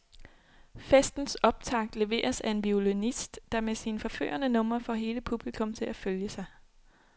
Festens optakt leveres af en violinist, der med sine forførende numre får hele publikum til at følge sig.